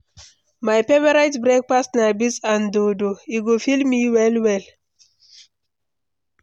My favorite breakfast na beans and dodo; e go fill me well well.